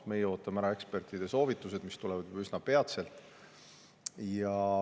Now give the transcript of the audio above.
Meie ootame ära ekspertide soovitused, mis tulevad juba üsna peatselt.